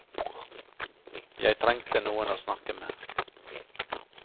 Jeg trengte noen å snakke med.